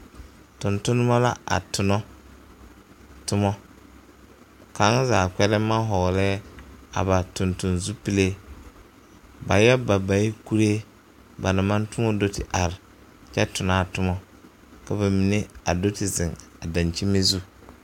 Tontonema la a tona tomɔ kaŋa zaa gbɛlem maŋ ba tontonne zupile ba yɔ ba ba yɛ kuree ba naŋ maŋ toɔ do te are kyɛ tona a toma ka ba mine a do te zeŋ dakyimi zu.